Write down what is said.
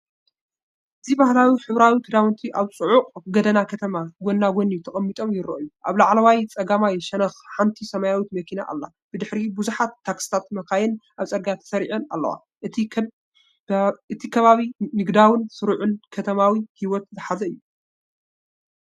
እዚ ባህላዊ ሕብራዊ ክዳውንቲ ኣብ ጽዑቕ ጎደና ከተማ ጎኒ ንጎኒ ተቀሚጦም ይረኣዩ። ኣብ ላዕለዋይ ጸጋማይ ሸነኽ ሓንቲ ሰማያዊት መኪና ኣላ፡ ብድሕሪት ብዙሓት ታክሲታትን መካይንን ኣብ ጽርግያ ተሰሪዐን ኣለዋ። እቲ ከባቢ ንግዳውን ስሩዕን ከተማዊ ህይወት ዝሓዘ እዩ።